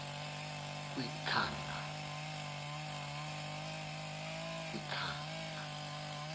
kwinkanga